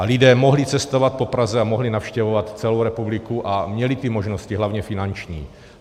A lidé mohli cestovat po Praze a mohli navštěvovat celou republiku a měli ty možnosti, hlavně finanční.